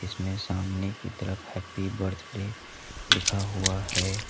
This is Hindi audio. इसमें सामने की तरफ हैप्पी बर्थडे लिखा हुआ है।